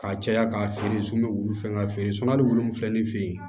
Ka caya k'a feere sun bɛ wulu fɛ ka feere hali wu fila ni fe yen